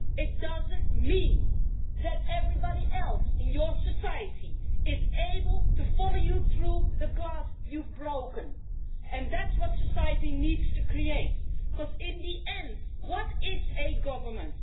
It doesn't mean that everybody else in your society is able to follow you through the glass you've broken, and it is that possibility that society needs to create because, in the end, what is a government?